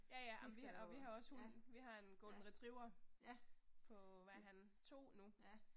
Ja ja amen vi og vi har også hund, vi har en Golden Retriever. På, hvad er han, 2 nu